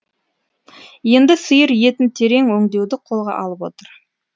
енді сиыр етін терең өңдеуді қолға алып отыр